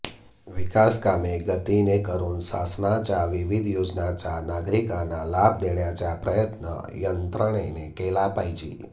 विकासकामे गतीने करून शासनाच्या विविध योजनांचा नागरिकांना लाभ देण्याचा प्रयत्न यंत्रणेने केला पाहिजे